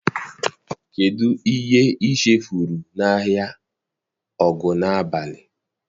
Kedụ ihe i chefuru n'ahịa Ogunabali?